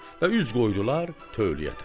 Və üz qoydular tövləyə tərəf.